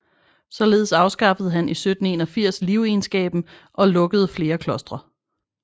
Således afskaffede han i 1781 livegenskabet og lukkede flere klostre